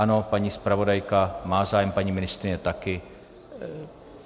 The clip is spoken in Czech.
Ano, paní zpravodajka má zájem, paní ministryně taky.